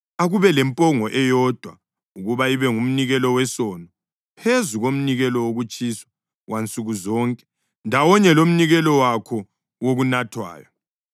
Akube lempongo eyodwa ukuba ibe ngumnikelo wesono, phezu komnikelo wokutshiswa wansuku zonke ndawonye lomnikelo wakho wokunathwayo.